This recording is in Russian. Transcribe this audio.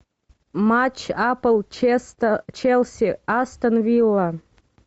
матч апл челси астон вилла